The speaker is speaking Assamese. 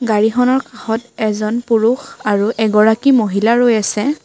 গাড়ীখনৰ কাষত এজন পুৰুষ আৰু এগৰাকী মহিলা ৰৈ আছে।